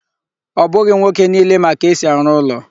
Ọ bụghị nwoke niile ma ka esi arụ ụlọ